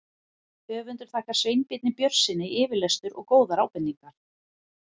Höfundur þakkar Sveinbirni Björnssyni yfirlestur og góðar ábendingar.